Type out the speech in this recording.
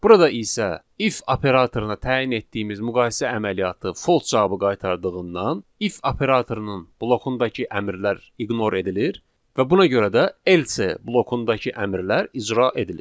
Burada isə if operatoruna təyin etdiyimiz müqayisə əməliyyatı false cavabı qaytardığından, if operatorunun blokundakı əmrlər ignor edilir və buna görə də else blokundakı əmrlər icra edilir.